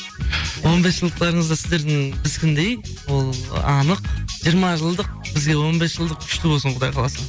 он бес жылдықтарыңызды сіздердің біздікіндей ол анық жиырма жылдық бізге он бес жылдық күшті болсын құдай қаласа